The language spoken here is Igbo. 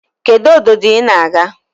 Kedu obdodo i na-aga?